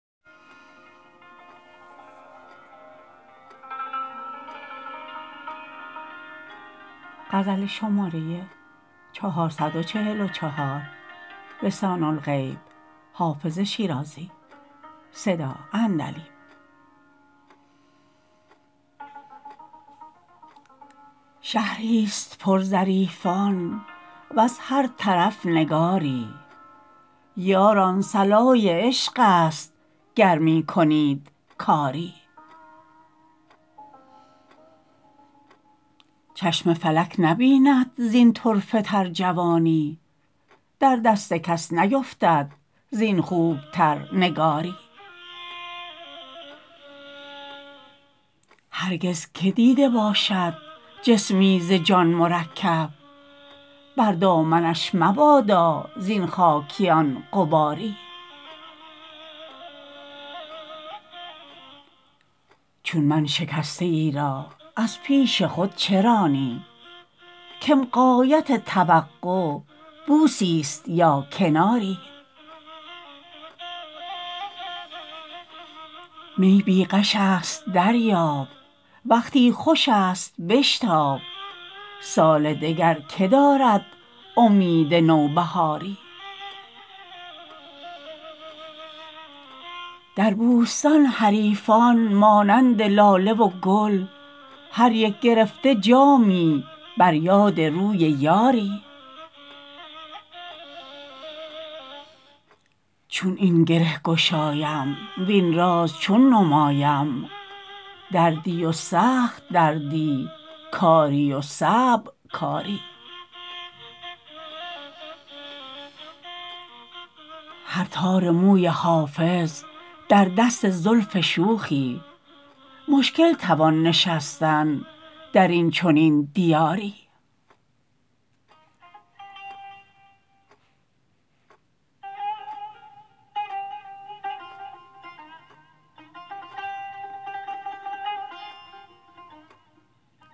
شهری ست پر ظریفان وز هر طرف نگاری یاران صلای عشق است گر می کنید کاری چشم فلک نبیند زین طرفه تر جوانی در دست کس نیفتد زین خوب تر نگاری هرگز که دیده باشد جسمی ز جان مرکب بر دامنش مبادا زین خاکیان غباری چون من شکسته ای را از پیش خود چه رانی کم غایت توقع بوسی ست یا کناری می بی غش است دریاب وقتی خوش است بشتاب سال دگر که دارد امید نوبهاری در بوستان حریفان مانند لاله و گل هر یک گرفته جامی بر یاد روی یاری چون این گره گشایم وین راز چون نمایم دردی و سخت دردی کاری و صعب کاری هر تار موی حافظ در دست زلف شوخی مشکل توان نشستن در این چنین دیاری